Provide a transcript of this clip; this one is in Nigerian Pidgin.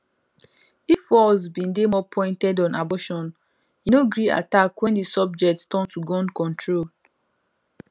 if walz bin dey more pointed on abortion e no gree attack wen di subject turn to gun control